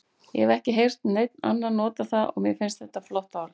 Ég hef ekki heyrt neinn annan nota það og mér finnst þetta flott orð.